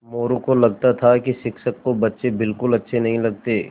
मोरू को लगता था कि शिक्षक को बच्चे बिलकुल अच्छे नहीं लगते थे